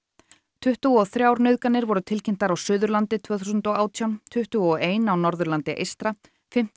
tuttugu og þrjár nauðganir voru tilkynntar á Suðurlandi tvö þúsund og átján tuttugu og ein á Norðurlandi eystra fimmtán